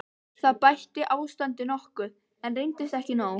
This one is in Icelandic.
Það bætti ástandið nokkuð, en reyndist ekki nóg.